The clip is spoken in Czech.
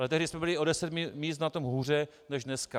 Ale tehdy jsme byli o deset míst na tom hůře než dneska.